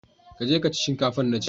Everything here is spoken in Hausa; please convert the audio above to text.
ka je ka ci shinkafan nace!